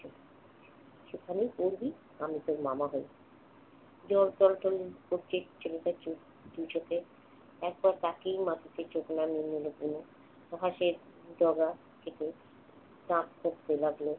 সেখানেই পড়বি, আমি তোর মামা হই। ছেলেটার চোখ~ দু চোখে একবার তাকিয়েই মাটিতে চোখ নামিয়ে নিল তনু। ডগা থেকে কাক উড়তে লাগল।